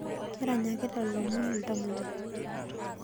Keranyakita lomon ltamoyiai